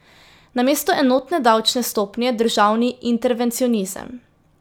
Namesto enotne davčne stopnje državni intervencionizem.